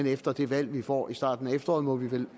efter det valg vi får i starten af efteråret må vi vel